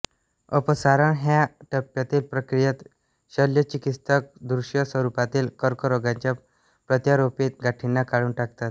अपसारण ह्या टप्यातील प्रक्रियेत शल्यचिकित्सक दृश्य स्वरूपातील कर्करोगाच्या प्रत्यारोपीत गाठींना काढून टाकतात